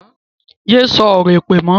Yé sọ̀rọ̀ èpè mọ́!